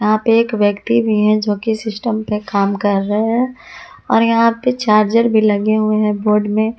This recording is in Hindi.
यहाँ पे एक व्यक्ति भी है जो कि सिस्टम पे काम कर रहे है। और यहाँ पे चार्जर भी लगे हुए है बोर्ड में--